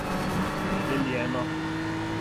Deljeno.